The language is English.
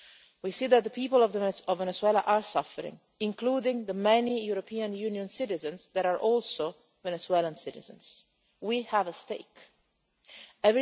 We see that the people of Venezuela are suffering, including the many European Union citizens who are also Venezuelan citizens. We have a stake in this.